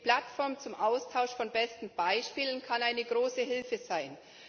Die Plattform zum Austausch von besten Beispielen kann eine große Hilfe sein.